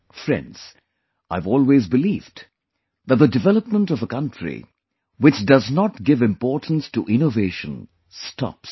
Friends, I have always believed that the development of a country which does not give importance to innovation, stops